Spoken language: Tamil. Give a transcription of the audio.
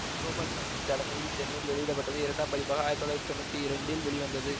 கோபால்சாமி தலைமையில் சென்னையில் வெளியிட பட்டது இரண்டாம் பதிப்பாக ஆயிரத்தி தொள்ளாயிரத்தி தொன்னூற்தி இரண்டில் வெளிவந்தது